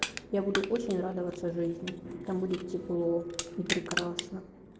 я буду очень радоваться жизни там будет тепло и прекрасна